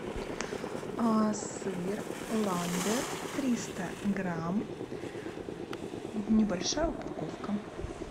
сыр ламбер триста грамм небольшая упаковка